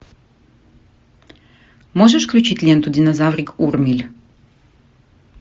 можешь включить ленту динозаврик урмиль